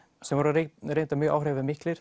sem voru reyndar mjög áhrifamiklir